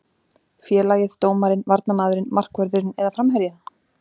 Félagið, dómarinn, varnarmaðurinn, markvörðurinn eða framherjinn?